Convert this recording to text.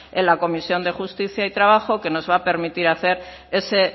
en la comisión de justicia y trabajo que nos va a permitir hacer ese